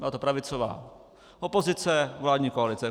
Byla to pravicová opozice, vládní koalice.